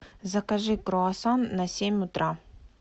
закажи круассан на семь утра